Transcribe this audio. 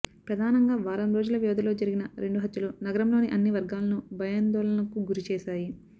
ప్రధానంగా వారం రోజుల వ్యవధిలో జరిగిన రెండు హత్యలు నగరంలోని అన్ని వర్గాలను భయాందోళనలకు గురిచేశాయి